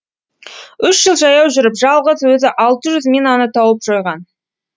үш жыл жаяу жүріп жалғыз өзі алты жүз минаны тауып жойған